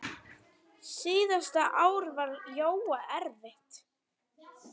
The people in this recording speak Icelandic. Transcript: Síðasta ár var Jóa erfitt.